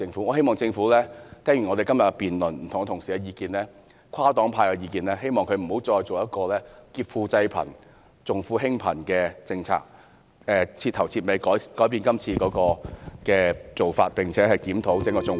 我希望政府聽罷今天的辯論，聽了不同同事的意見和跨黨派的意見後，不會再推行這項劫貧濟富，重富輕貧的政策，徹底改變今次的做法，並且檢討整個綜援......